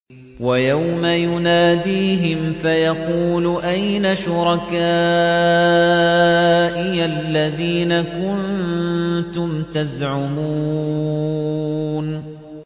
وَيَوْمَ يُنَادِيهِمْ فَيَقُولُ أَيْنَ شُرَكَائِيَ الَّذِينَ كُنتُمْ تَزْعُمُونَ